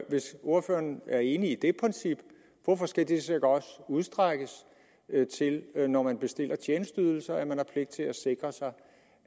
hvis ordføreren er enig i det princip hvorfor skal det så ikke også udstrækkes til når man bestiller tjenesteydelser at man har pligt til at sikre sig